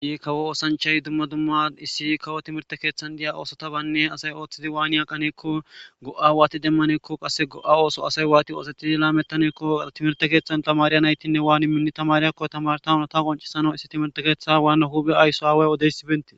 I kawo oosanchay dumma dumma issi kawo timirte keeththan diya oosota baynne asay ooththidi waani aqaneekko go'a waati demmaneekko qasse go'a ooso asay waati oosetidi laamettaneekko artimerte keeththan tamariya naytinne waani minni tamariyakko tamartawuna ta qoncisano issi timirte keeththa waanna huphe aysso aaway odeysibenti